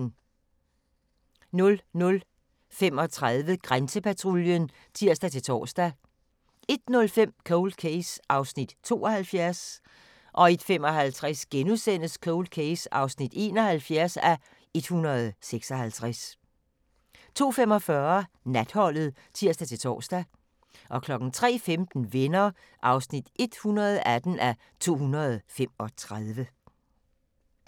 00:35: Grænsepatruljen (tir-tor) 01:05: Cold Case (72:156) 01:55: Cold Case (71:156)* 02:45: Natholdet (tir-tor) 03:15: Venner (118:235)